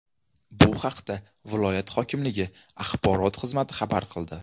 Bu haqda viloyat hokimligi axborot xizmati xabar qildi .